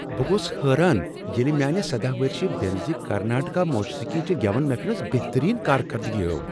بہٕ گوس حیران ییٚلہ میانہ سدہَ ؤرشہ بیٚنٛزِ کرناٹک موسیقی چہ گیون محفل منٛز بہترینکارگردگی ہٲو